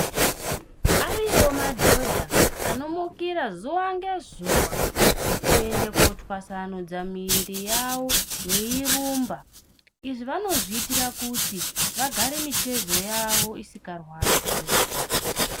Ariyoo madhodha anomukira zuwa ngezuwa kuenda kootwasanudza miiri yavo veirumba. Izvi vanozviitira kuti vagare mitezo yavo isikarwadzi.